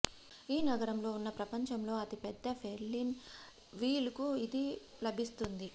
ఈ నగరంలో ఉన్న ప్రపంచంలో అతి పెద్ద ఫెర్రిస్ వీల్ కు ఇది లభిస్తుంది